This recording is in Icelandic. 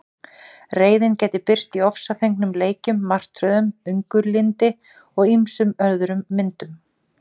Reiðin gæti birst í ofsafengnum leikjum, martröðum, önuglyndi og ýmsum öðrum myndum.